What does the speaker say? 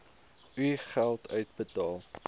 u geld uitbetaal